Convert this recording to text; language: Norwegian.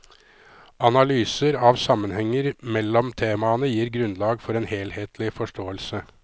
Analyser av sammenhenger mellom temaene gir grunnlag for en helhetlig forståelse.